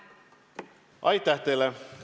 Aitäh teile!